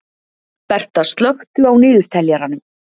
Berta, slökktu á niðurteljaranum.